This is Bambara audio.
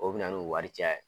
O bɛna n'u wari caya ye